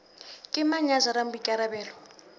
ke mang ya jarang boikarabelo